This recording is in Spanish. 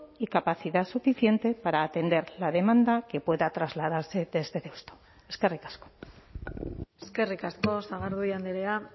y capacidad suficiente para atender la demanda que pueda trasladarse desde deusto eskerrik asko eskerrik asko sagardui andrea